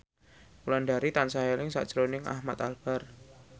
Wulandari tansah eling sakjroning Ahmad Albar